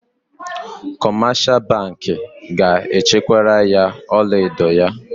Kọmeshal bankị ga-echekwara ya ọlaedo ya.